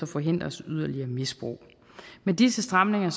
forhindres yderligere misbrug med disse stramninger